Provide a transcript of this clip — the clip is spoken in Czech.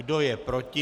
Kdo je proti?